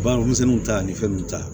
Baganmisɛnninw ta ani fɛn nunnu ta